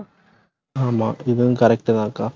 ஆமா, இதுவும் correct உ தான் அக்கா